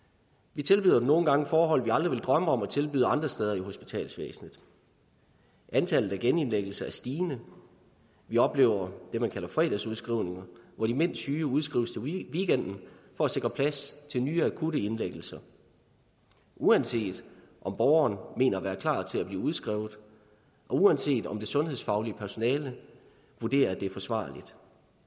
vi tilbyder dem nogle gange forhold vi aldrig ville drømme om at tilbyde andre steder i hospitalsvæsenet antallet af genindlæggelser er stigende vi oplever det man kalder fredagsudskrivninger hvor de mindst syge udskrives til weekenden for at sikre plads til nye og akutte indlæggelser uanset om borgerne mener at være klar til at blive udskrevet og uanset om det sundhedsfaglige personale vurderer at det er forsvarligt